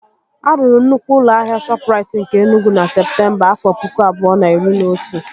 A rụrụ nnukwu ụlọ ahịa Shọpụrait nke Enugwu na Septemba, afọ pụkụ abụọ na iri na otu